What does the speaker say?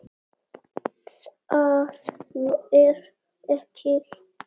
ÞAÐ FER EKKI